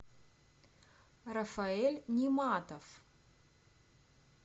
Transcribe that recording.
рафаэль ниматов